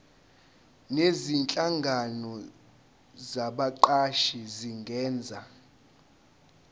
nezinhlangano zabaqashi zingenza